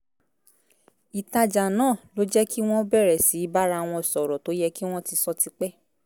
ìtajà náà ló jẹ́ kí wọ́n bẹ̀rẹ̀ sí í bára wọn sọ̀rọ̀ tó yẹ kí wọ́n ti sọ ti pẹ́